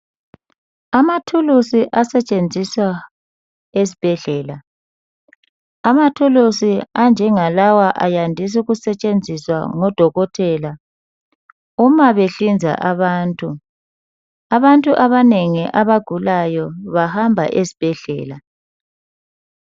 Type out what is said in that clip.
Amathulusi asetshenziswa esbhedlela. Amathulusi anjengalawa ayandis' ukusetshenziswa ngodokotela uma behlinza abantu. Abantu abanengi abagulayo bahamba esbhedlela.